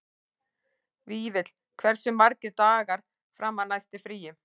Vífill, hversu margir dagar fram að næsta fríi?